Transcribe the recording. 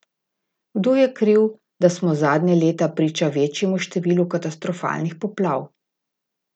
Kdo je kriv, da smo zadnja leta priča večjemu številu katastrofalnih poplav?